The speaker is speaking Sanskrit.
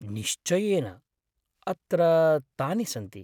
निश्चयेन! अत्र तानि सन्ति।